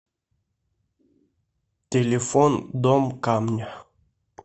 телефон дом камня